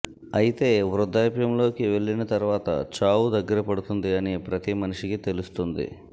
అయితే వృద్దాప్యంలోకి వెళ్లిన తర్వాత చావు దగ్గరపడుతుంది అని ప్రతి మనిషికి తెలుస్తుంది